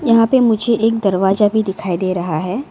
यहां पे मुझे एक दरवाजा भी दिखाई दे रहा है।